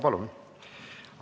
Palun!